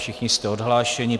Všichni jste odhlášeni.